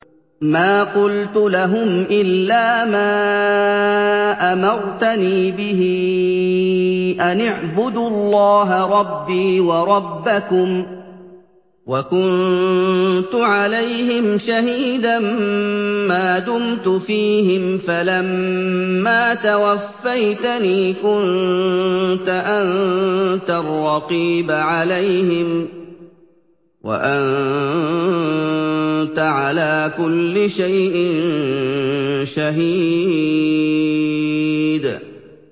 مَا قُلْتُ لَهُمْ إِلَّا مَا أَمَرْتَنِي بِهِ أَنِ اعْبُدُوا اللَّهَ رَبِّي وَرَبَّكُمْ ۚ وَكُنتُ عَلَيْهِمْ شَهِيدًا مَّا دُمْتُ فِيهِمْ ۖ فَلَمَّا تَوَفَّيْتَنِي كُنتَ أَنتَ الرَّقِيبَ عَلَيْهِمْ ۚ وَأَنتَ عَلَىٰ كُلِّ شَيْءٍ شَهِيدٌ